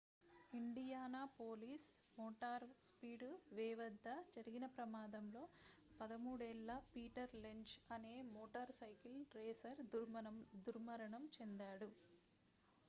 Indianapolis motor speedway వద్ద జరిగిన ప్రమాదంలో 13 ఏళ్ల పీటర్ లెంజ్ అనే మోటార్ సైకిల్ రేసర్ దుర్మరణం చెందాడు